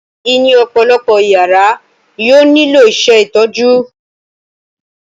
Níní ọ̀pọ̀lọpọ̀ ìyàrá yóò nílò ìṣètọ́jú.